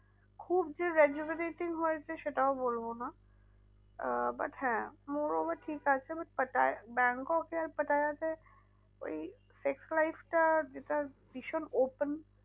খুব যে rajularaty হয়েছে সেটাও বলবো না আহ but হ্যাঁ more over ঠিক আছে but পাটায়া ব্যাংকক এ আর পাটায়াতে ওই sex life টা যেটা ভীষণ open